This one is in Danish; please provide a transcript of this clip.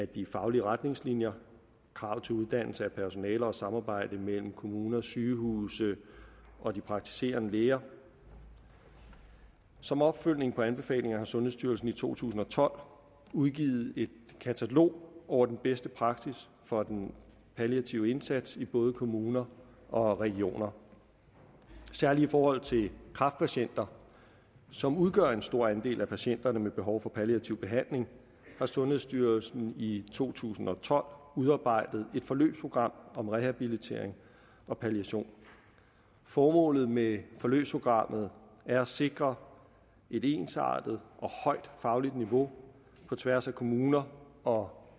de faglige retningslinjer krav til uddannelse af personale og samarbejde mellem kommuner og sygehuse og de praktiserende læger som opfølgning på anbefalingerne har sundhedsstyrelsen i to tusind og tolv udgivet et katalog over den bedste praksis for den palliative indsats i både kommuner og regioner særlig i forhold til kræftpatienter som udgør en stor andel af patienterne med behov for palliativ behandling har sundhedsstyrelsen i to tusind og tolv udarbejdet et forløbsprogram om rehabilitering og palliation formålet med forløbsprogrammet er at sikre et ensartet og højt fagligt niveau på tværs af kommuner og